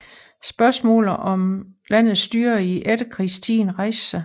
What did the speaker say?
Spørgsmålet om landets styre i efterkrigstiden rejste sig